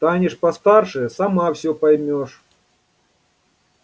станешь постарше сама все поймёшь